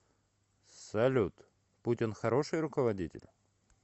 салют путин хороший руководитель